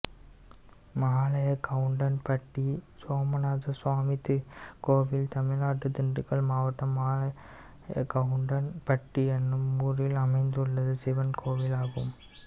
மாலையகவுண்டன்பட்டி சோமநாதசாமி கோயில் தமிழ்நாட்டில் திண்டுக்கல் மாவட்டம் மாலையகவுண்டன்பட்டி என்னும் ஊரில் அமைந்துள்ள சிவன் கோயிலாகும்